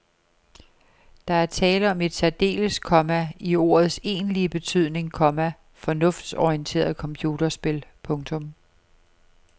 Der er tale om et særdeles, komma i ordets egentlige betydning, komma fornuftsorienteret computerspil. punktum